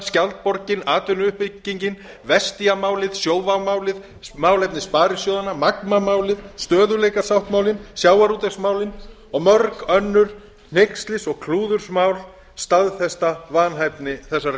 skjaldborgin atvinnuuppbyggingin vestia málið sjóvá málið málefni sparisjóðanna magma málið stöðugleikasáttmálinn sjávarútvegsmálin og mörg önnur hneykslis og klúðursmál staðfesta vanhæfni þessarar